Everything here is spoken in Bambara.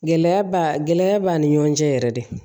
Gɛlɛya ba gɛlɛya b'a ni ɲɔgɔn cɛ yɛrɛ de